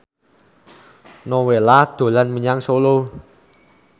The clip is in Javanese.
Nowela dolan menyang Solo